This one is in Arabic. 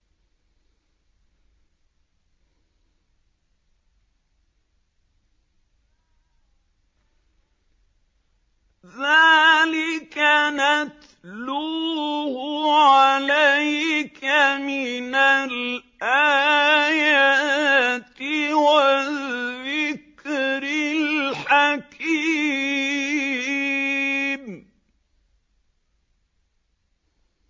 ذَٰلِكَ نَتْلُوهُ عَلَيْكَ مِنَ الْآيَاتِ وَالذِّكْرِ الْحَكِيمِ